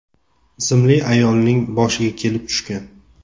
ismli ayolning boshiga kelib tushgan.